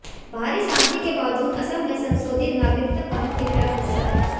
बाहरी शांति के बावजूद असम में संशोधित नागरिकता कानून के खिलाफ गुस्सा है